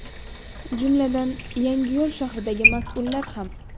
Jumladan, Yangiyo‘l shahridagi mas’ullar ham.